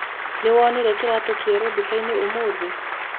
Nĩwonire kĩratũ kĩerũ dukainĩ ũmũthĩ?